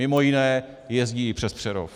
Mimo jiné jezdí i přes Přerov.